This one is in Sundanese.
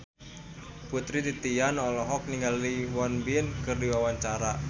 Putri Titian olohok ningali Won Bin keur diwawancara